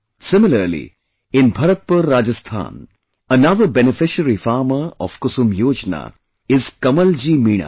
Similarly, in Bharatpur, Rajasthan, another beneficiary farmer of 'KusumYojana' is Kamalji Meena